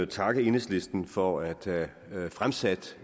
takke enhedslisten for at have fremsat